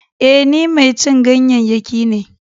E, ni mai cin ganyayyaki ne.